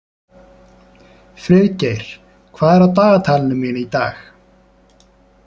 Friðgeir, hvað er á dagatalinu mínu í dag?